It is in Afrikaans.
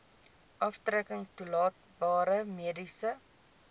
aftrekking toelaatbare mediese